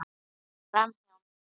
Framhjá mér.